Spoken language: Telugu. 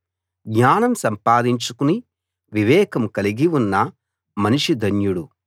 జ్ఞానం సంపాదించుకుని వివేకం కలిగి ఉన్న మనిషి ధన్యుడు